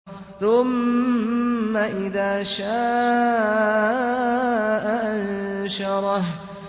ثُمَّ إِذَا شَاءَ أَنشَرَهُ